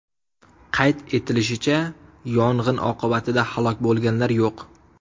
Qayd etilishicha, yong‘in oqibatida halok bo‘lganlar yo‘q.